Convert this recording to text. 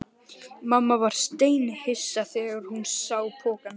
Mamma varð steinhissa þegar hún sá pokann.